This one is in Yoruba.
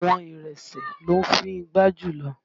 Àwọn Ìrèsé ló ń fíngbá jùlọ